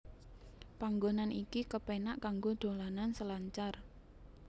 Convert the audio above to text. Panggonan iki kepenak kanggo dolanan selancar